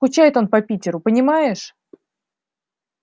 скучает он по питеру понимаешь